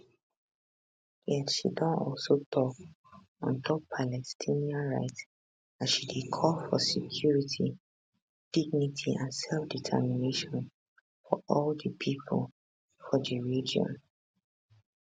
yet she don also tok on top palestinian rights as she dey call for security dignity and selfdetermination for all di pipo for for di region um